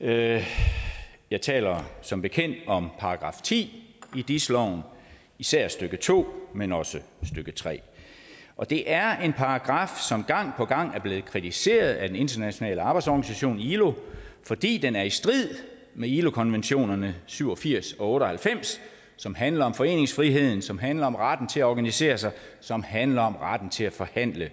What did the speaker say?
jeg jeg taler som bekendt om § ti i dis loven især stykke to men også stykke tredje og det er en paragraf som gang på gang er blevet kritiseret af den internationale arbejdsorganisation ilo fordi den er i strid med ilo konventionerne syv og firs og otte og halvfems som handler om foreningsfriheden som handler om retten til at organisere sig som handler om retten til at forhandle